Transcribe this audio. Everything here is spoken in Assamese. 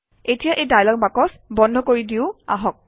এতিয়া এই ডায়লগ বাকচ বন্ধ কৰি দিওঁ আহক